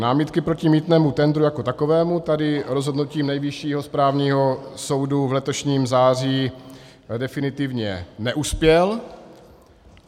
Námitky proti mýtnému tendru jako takovému - tady rozhodnutím Nejvyššího správního soudu v letošním září definitivně neuspěl.